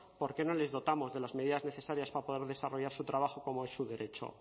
por qué no les dotamos de las medidas necesarias para poder desarrollar su trabajo como es su derecho